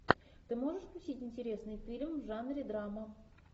ты можешь включить интересный фильм в жанре драма